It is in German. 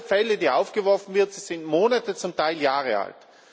Alle Fälle, die aufgeworfen werden, sind Monate, zum Teil Jahre alt.